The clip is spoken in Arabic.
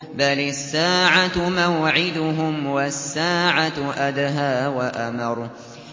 بَلِ السَّاعَةُ مَوْعِدُهُمْ وَالسَّاعَةُ أَدْهَىٰ وَأَمَرُّ